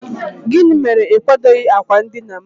gịnị mere na ị kwadoghị akwa ndina'm?